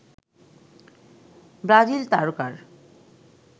Brazil তারকার